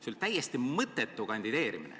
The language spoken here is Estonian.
See oli täiesti mõttetu kandideerimine.